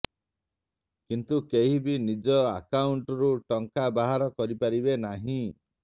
କିନ୍ତୁ କେହି ବି ନିଜ ଆକାଉଣ୍ଟରୁ ଟଙ୍କା ବାହାର କରିପାରିବେ ନାହିଁ